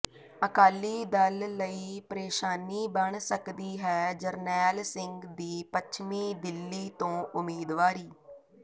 ਅਕਾਲੀ ਦਲ ਲਈ ਪ੍ਰੇਸ਼ਾਨੀ ਬਣ ਸਕਦੀ ਹੈ ਜਰਨੈਲ ਸਿੰਘ ਦੀ ਪੱਛਮੀ ਦਿੱਲੀ ਤੋਂ ਉਮੀਦਵਾਰੀ